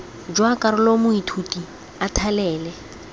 jwa karolo moithuti a thalele